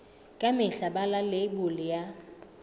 ka mehla bala leibole ya